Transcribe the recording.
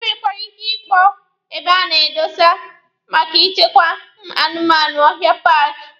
E nwekwara ike ịkpọ ebe a na-edosa maka ịchekwa anụmanụ ọhịa paaki.